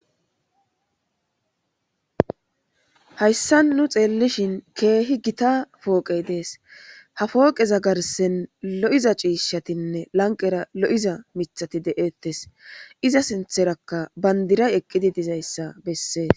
Hasan nu xelishin kehi githa poqe des ha poqe garsen lo,iza c,ishatinne lanqera lo,iza mithati detes iza sinthanka bandirayi eqidi dizayisa besees